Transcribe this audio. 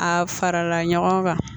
A farala ɲɔgɔn kan